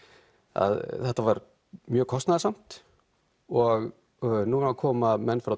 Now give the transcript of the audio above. að þetta var mjög kostnaðarsamt og núna koma menn frá